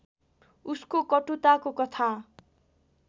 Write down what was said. उसको कटुताको कथा